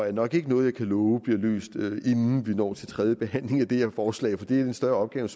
er nok ikke noget jeg kan love bliver løst inden vi når til tredje behandling af det her forslag for det er en større opgave